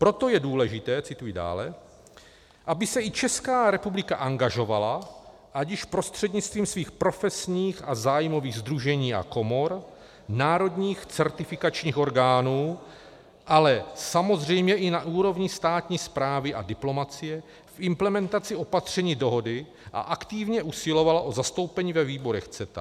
Proto je důležité - cituji dále -, aby se i Česká republika angažovala ať již prostřednictvím svých profesních a zájmových sdružení a komor, národních certifikačních orgánů, ale samozřejmě i na úrovni státní správy a diplomacie v implementaci opatření dohody a aktivně usilovala o zastoupení ve výborech CETA.